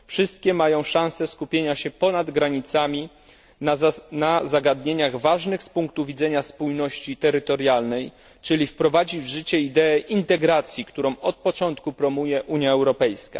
Wszystkie mają szanse skupienia się ponad granicami na zagadnieniach ważnych z punktu widzenia spójności terytorialnej, czyli wprowadzić w życie ideę integracji, którą od początku promuje Unia Europejska.